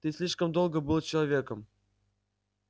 ты слишком долго был человеком